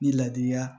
Ni laadiya